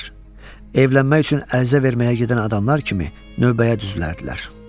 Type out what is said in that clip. Evlənmək üçün ərizə verməyə gedən adamlar kimi növbəyə düzülərdilər.